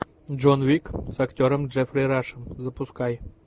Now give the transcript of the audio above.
джон уик с актером джеффри рашем запускай